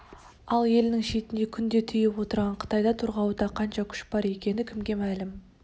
ал елінің шетіне күнде тиіп отырған қытайда торғауытта қанша күш бар екені кімге мәлім